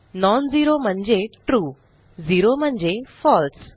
non zero म्हणजे true zero म्हणजे फळसे